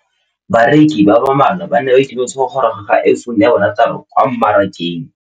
Bareki ba ba malwa ba ituemeletse go gôrôga ga Iphone6 kwa mmarakeng.